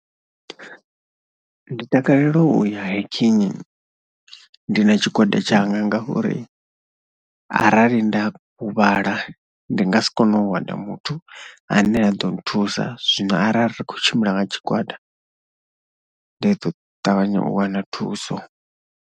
Ndi takalela u ya hiking ndi na tshigwada tshanga ngauri arali nda huvhala ndi nga si kone u wana muthu ane a ḓo nthusa zwino arali ri khou tshimbila nga tshigwada ndi ḓo ṱavhanya u wana thuso.